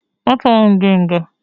Atuọ m gị nga!